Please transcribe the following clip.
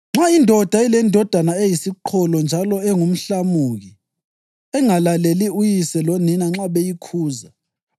“Nxa indoda ilendodana eyisiqholo njalo engumhlamuki engalaleli uyise lonina nxa beyikhuza,